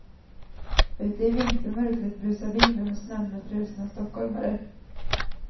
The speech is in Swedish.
Ute i vintermörkret busar vinden och snön med frusna stockholmare.